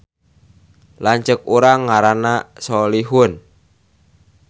Lanceuk urang ngaranna Solihun